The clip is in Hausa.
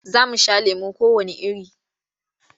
Za mu sha lemo kowanne iri.